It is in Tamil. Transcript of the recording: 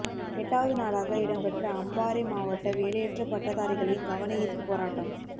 எட்டாவது நாளாக இடம் பெற்ற அம்பாரை மாவட்ட வேலையற்ற பட்டதாரிகளின் கவனயீர்ப்பு போராட்டம்